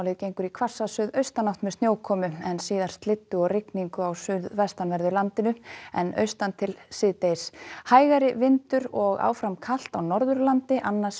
gengur í hvassa suðaustanátt með snjókomu en síðar slyddu og rigningu á suðvestanverðu landinu en austantil síðdegis hægari vindur og áfram kal á Norðurlandi annars